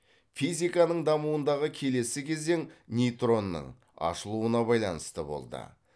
физиканың дамуындағы келесі кезең нейтронның ашылуына байланысты болды